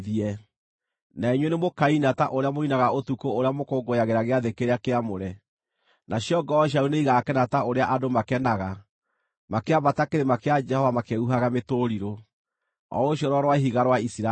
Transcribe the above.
Na inyuĩ nĩmũkaina, ta ũrĩa mũinaga ũtukũ ũrĩa mũkũngũyagĩra gĩathĩ kĩrĩa kĩamũre; nacio ngoro cianyu nĩigakena ta ũrĩa andũ makenaga makĩambata kĩrĩma kĩa Jehova makĩhuhaga mĩtũrirũ, o ũcio Rwaro-rwa-Ihiga rwa Isiraeli.